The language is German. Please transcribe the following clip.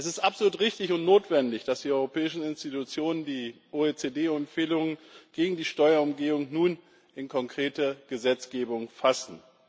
Es ist absolut richtig und notwendig, dass die europäischen Institutionen die OECD Empfehlungen gegen die Steuerumgehung nun in konkrete Gesetzgebung fassen.